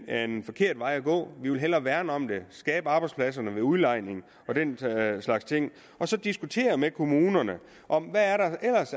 er en forkert vej at gå vi vil hellere værne om det skabe arbejdspladserne ved udlejning og den slags ting og så diskutere med kommunerne om der er